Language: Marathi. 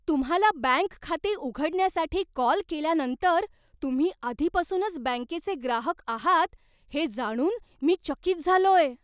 तुम्हाला बँक खाते उघडण्यासाठी कॉल केल्यानंतर तुम्ही आधीपासूनच बँकेचे ग्राहक आहात हे जाणून मी चकित झालोय.